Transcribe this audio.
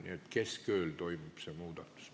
Nii et keskööl toimub see muudatus.